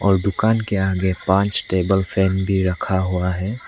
और दुकान के आगे पांच टेबल फैन भी रखा हुआ है।